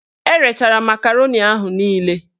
Erechara makaroni ahụ niile